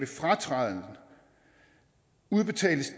fratræden udbetales